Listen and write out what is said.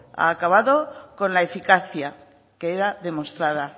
ha acabado con la eficacia que era demostrada